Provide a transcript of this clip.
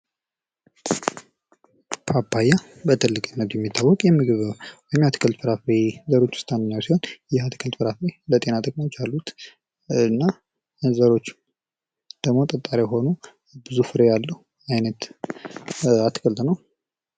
ፓፓያ በትልቅነቱ የሚታወቅ የምግብና የአትክልት ፍራፍሬ ዘሮች ውስጥ አንደኛው ሲሆን ይህ የአትክልት ፍራፍሬ ለጤና ጥቅሞች አሉት። እና ዘሮቹ ደግሞ ጠጣሪ የሆኑ ብዙ ፍሬ ያለው አይነት የአትክልት ነው።